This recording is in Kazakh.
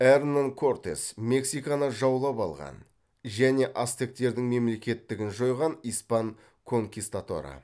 эрнан кортес мексиканы жаулап алған және ацтектердің мемлекеттігін жойған испан конкистадоры